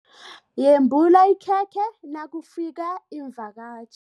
Yembula ikhekhe nakufika iimvakatjhi.